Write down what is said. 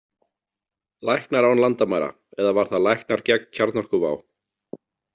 Læknar án landamæra, eða var það Læknar gegn kjarnorkuvá?